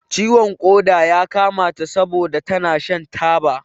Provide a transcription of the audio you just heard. Ciwon ƙoda ya kama ta sabon da tana shan taba.